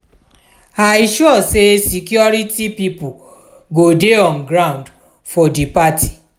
i sure sey security pipo go dey on ground for di party.